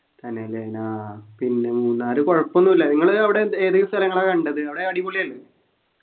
തന്നെല്ലേ ആഹ് പിന്നെ മൂന്നാറ് കൊഴപ്പോന്നുല്ല നിങ്ങള് അവിടെ എന്ത് ഏതല്ലം സ്ഥലങ്ങളാ കണ്ടത് അവിടെ അടിപൊളിയല്ലേ